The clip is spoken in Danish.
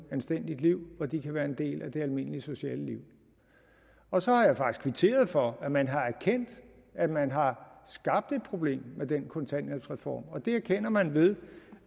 anstændigt liv hvor de kan være en del af det almindelige sociale liv og så har jeg faktisk kvitteret for at man har erkendt at man har skabt et problem med den kontanthjælpsreform det erkender man ved